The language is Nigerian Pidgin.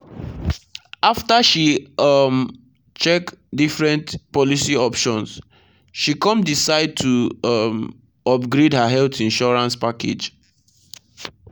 after she um check different policy options she come decide to um upgrade her health insurance package.